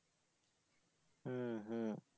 হম হম